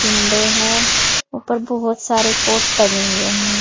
Window है ऊपर बहुत सारे कोट टंगे हुए है।